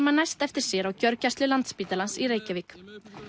man næst eftir sér á gjörgæslu Landspítalans í Reykjavík